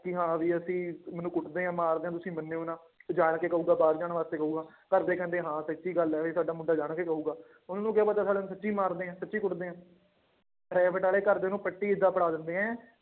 ਕਿ ਹਾਂ ਵੀ ਅਸੀਂ ਮੈਨੂੰ ਕੁੱਟਦੇ ਆ ਮਾਰਦੇ ਆ ਤੁਸੀਂ ਮੰਨਿਓ ਨਾ ਤੇ ਜਾਣਕੇ ਕਹੇਗਾ ਬਾਹਰ ਜਾਣ ਕਰੇ ਕਹੇਗਾ, ਘਰਦੇ ਕਹਿੰਦੇ ਹਾਂ ਸੱਚੀ ਗੱਲ ਹੈ ਵੀ ਸਾਡਾ ਮੁੰਡਾ ਜਾਣਕੇ ਕਹੇਗਾ, ਤੁਹਾਨੂੰ ਕੀ ਪਤਾ ਨੂੰ ਸੱਚੀ ਮਾਰਦੇ ਆ ਸੱਚੀ ਕੁੱਟਦੇ ਹੈ private center ਵਾਲੇ ਘਰਦੇ ਨੂੰ ਪੱਟੀ ਏਦਾਂ ਪੜ੍ਹਾ ਦਿੰਦੇ ਹੈ,